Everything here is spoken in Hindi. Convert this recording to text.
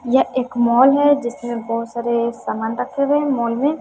यह एक मॉल है जिसमें बहुत सारे सामान रखते हुए मॉल में--